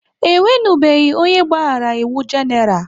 E nwenubeghi onye gbaghara iwu Genaral